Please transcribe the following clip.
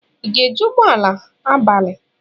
Ị ga-eji ụgbọ ala abalị?